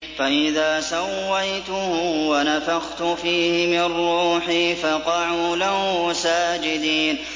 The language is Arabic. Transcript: فَإِذَا سَوَّيْتُهُ وَنَفَخْتُ فِيهِ مِن رُّوحِي فَقَعُوا لَهُ سَاجِدِينَ